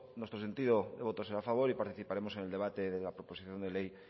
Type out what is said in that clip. nuestro sentido de voto será a favor y participaremos en el debate de la proposición de ley